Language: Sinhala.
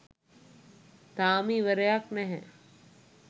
තාම ඉවරයක් නැහැ